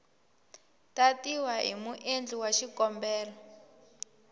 tatiwa hi muendli wa xikombelo